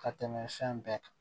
Ka tɛmɛ fɛn bɛɛ kan